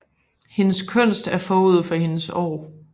Hendes kunst er forud for hendes år